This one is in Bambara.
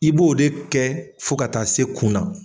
I b'o de kɛ fo ka taa se kun na.